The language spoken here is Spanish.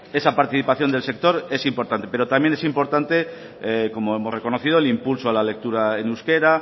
esa participación del sector es importante pero también es importante como hemos reconocido el impulso a la lectura en euskera